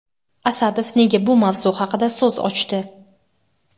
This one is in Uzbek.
Asadov nega bu mavzu haqida so‘z ochdi?.